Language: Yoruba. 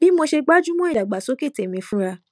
bí mo ṣe gbájú mó ìdàgbàsókè tèmi fúnra